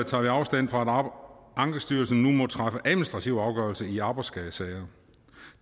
tager vi afstand fra at ankestyrelsen nu må træffe administrative afgørelser i arbejdsskadesager